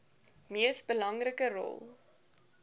mees belangrike rol